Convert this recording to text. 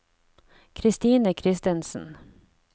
Christine Kristensen